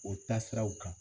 O taasiraw kan